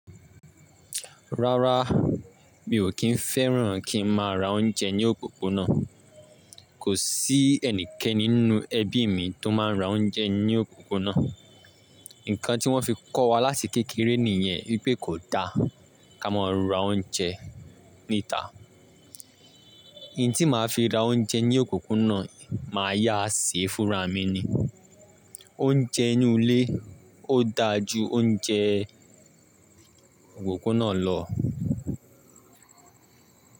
Rárá, mi ò kí ń fẹ́ràn kí n máa ra oúnjẹ ní òpópónà. Kò sí ẹnikẹ́ni nínú ẹbí mi tó máa ń ra oúnjẹ ní òpópónà. Nǹkan tí wọ́n fi kọ́ wa láti kékeré nìyẹn wípé kò da ká máa ra oúnjẹ níta. Ntí màá fi ra oúnjẹ ní òpópónà máa yá se ẹ́ fúnra mi ni. Oúnjẹ inú ilé ó da ju oúnjẹ òpópónà lọ.